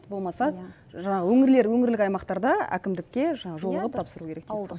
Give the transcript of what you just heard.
болмаса жаңағы өңірлер өңірлік аймақтарда әкімдікке жаңағы жолығып тапсыру керек дейсіз ғой